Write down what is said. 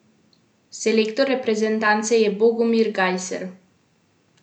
Selektor reprezentance je Bogomir Gajser.